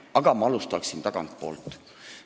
Aga ma alustan tagantpoolt.